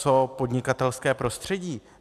Co podnikatelské prostředí?